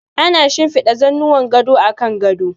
Ana shinfiɗa zannuwan gado a kan gado.